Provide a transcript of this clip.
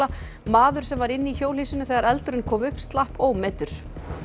maður sem var inni í hjólhýsinu þegar eldurinn kom upp slapp ómeiddur